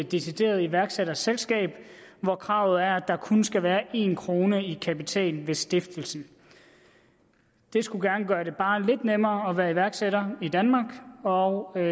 decideret iværksætterselskab hvor kravet er at der kun skal være en kroner i kapital ved stiftelsen det skulle gerne gøre det bare lidt nemmere at være iværksætter i danmark og